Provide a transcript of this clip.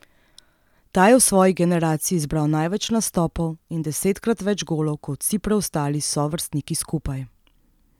Ta je v svoji generaciji zbral največ nastopov in desetkrat več golov kot vsi preostali sovrstniki skupaj!